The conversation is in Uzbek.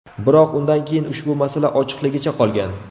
Biroq undan keyin ushbu masala ochiqligicha qolgan.